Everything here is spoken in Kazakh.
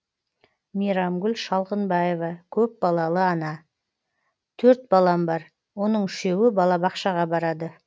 мейрамгүл шалғынбаева көпбалалы ана төрт балам бар оның үшеуі балабақшаға барады